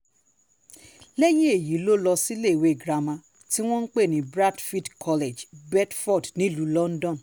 lẹ́yìn èyí ló lọ síléèwé girama tí wọ́n pè ní bradfield college beedford nílùú london